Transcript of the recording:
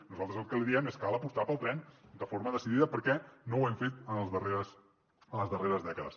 nosaltres el que li diem és cal apostar pel tren de forma decidida perquè no ho hem fet en les darreres dècades